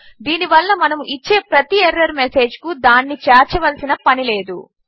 దీని వలన మనము ఇచ్చే ప్రతి ఎర్రర్ మెసేజ్కు దానిని చేర్చవలసిన పనిలేదు